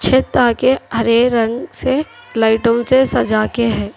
छत आगे हरे रंग से लाइटों से सजा के है।